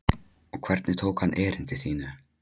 Og hvernig tók hann erindi þínu?